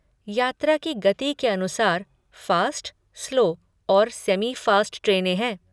यात्रा की गति के अनुसार, फ़ास्ट, स्लो और सेमि फ़ास्ट ट्रेनें हैं।